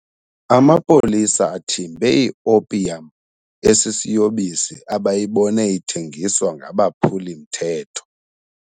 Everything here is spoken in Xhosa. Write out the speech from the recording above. Amapolisa athimbe iopiyam esisiyobisi abayibone ithengiswa ngabaphuli-mthetho.